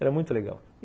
Era muito legal.